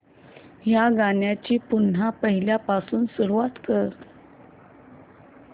या गाण्या ची पुन्हा पहिल्यापासून सुरुवात कर